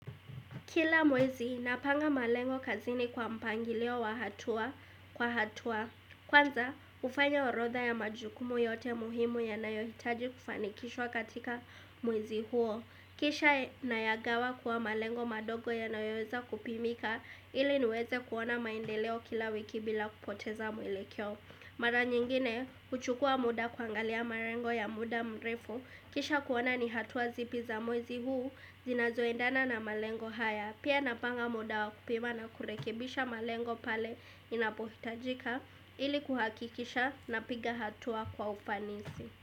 Kila mwezi napanga malengo kazini kwa mpangilio wa hatua kwa hatua kwanza hufanya orodha ya majukumu yote muhimu yanayohitaji kufanikishwa katika mwezi huo kisha nayagawa kwa malengo madogo yanayoweza kupimika ili niweze kuona maendeleo kila wiki bila kupoteza mwelekeo mara nyingine huchukua muda kuangalia malengo ya muda mrefu kisha kuona ni hatua zipi za mwezi huu zinazoendana na malengo haya pia napanga muda wa kupima na kurekebisha malengo pale inapohitajika ili kuhakikisha napiga hatua kwa ufanisi.